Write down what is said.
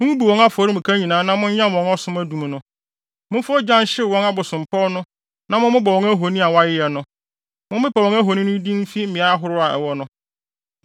Mummubu wɔn afɔremuka nyinaa na monyam wɔn ɔsom adum no. Momfa ogya nhyew wɔn abosompɔw na mommobɔ wɔn ahoni a wɔayeyɛ no. Mompepa wɔn ahoni no din mfi mmeae ahorow a ɛwɔ no.